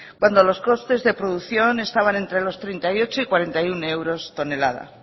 cuando los costes de producción estaban entre los treinta y ocho y cuarenta y uno euros tonelada